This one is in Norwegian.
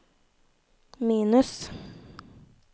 minus